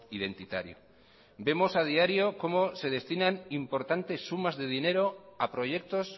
identitario vemos a diario cómo se destinan importantes sumas de dinero a proyectos